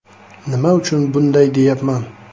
Nima uchun bunday deyapman?